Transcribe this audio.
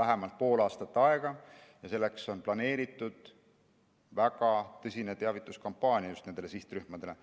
vähemalt pool aastat aega ja on planeeritud väga tõsine teavituskampaania just nendele sihtrühmadele.